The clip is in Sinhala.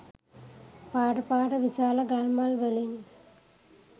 පාට පාට විශාල ගල් මල් වලින්.